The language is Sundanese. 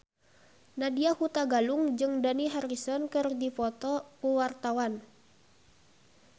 Nadya Hutagalung jeung Dani Harrison keur dipoto ku wartawan